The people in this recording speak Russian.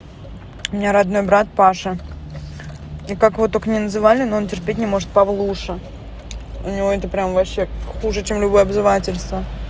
меня родной брат паша и как вот только не называли но он терпеть не может павлуша у него это прямо вообще хуже чем любое обзывательство